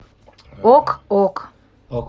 ок ок